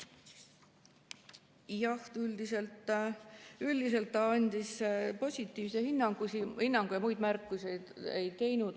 Jah, üldiselt ta andis positiivse hinnangu ja muid märkusi ei teinud.